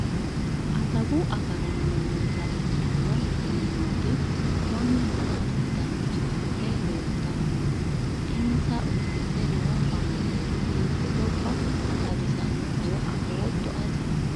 adawu agaraano miilla ikkitino mannooti konne maa assitanni uurrite leeltanni no? insa uddidhe noo baandeeri hiite gobba xawisannohoro afootto ati?